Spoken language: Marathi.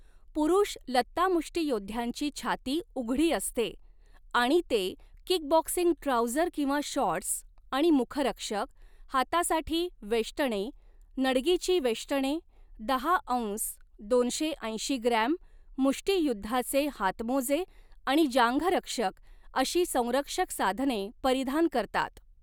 पुरुष लत्तामुष्टीयोद्ध्यांची छाती उघडी असते आणि ते किकबॉक्सिंग ट्राऊझर किंवा शॉर्ट्स आणि मुखरक्षक, हातासाठी वेष्टणे, नडगीची वेष्टणे, दहा औंस दोनशे ऐंशी ग्रॅम मुष्टीयुद्धाचे हातमोजे आणि जांघरक्षक अशी संरक्षक साधने परिधान करतात.